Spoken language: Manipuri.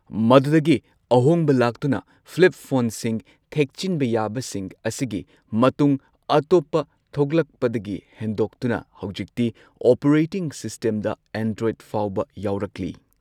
ꯃꯗꯨꯗꯒꯤ ꯑꯍꯣꯡꯕ ꯂꯥꯛꯇꯨꯅ ꯐ꯭ꯂꯤꯞ ꯐꯣꯟꯁꯤꯡ ꯊꯦꯛꯆꯤꯟꯕ ꯌꯥꯕꯁꯤꯡ ꯑꯁꯤꯒꯤ ꯃꯇꯨꯡ ꯑꯇꯣꯞꯄ ꯊꯣꯛꯂꯛꯄꯗꯒꯤ ꯍꯦꯟꯗꯣꯛꯇꯨꯅ ꯍꯧꯖꯤꯛꯇꯤ ꯑꯣꯄꯔꯦꯇꯤꯡ ꯁꯤꯁꯇꯦꯝꯗ ꯑꯦꯟꯗ꯭ꯔꯣꯏꯗ ꯐꯥꯎꯕ ꯌꯥꯎꯔꯛꯂꯤ꯫